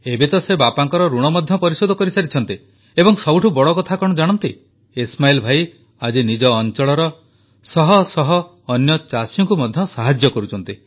ଏବେ ତ ସେ ବାପାଙ୍କର ଋଣ ମଧ୍ୟ ପରିଶୋଧ କରିସାରିଛନ୍ତି ଏବଂ ସବୁଠୁ ବଡ଼ କଥା କଣ ଜାଣନ୍ତି ଇସ୍ମାଇଲ୍ ଭାଇ ଆଜି ନିଜ ଅଂଚଳର ଶହଶହ ଅନ୍ୟ ଚାଷୀଙ୍କୁ ମଧ୍ୟ ସାହାଯ୍ୟ କରୁଛନ୍ତି